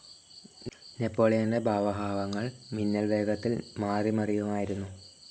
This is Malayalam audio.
നെപോളിയന്റെ ഭാവഹാവങ്ങൾ മിന്നൽ വേഗത്തിൽ മാറിമറിയുമായിരുന്നു.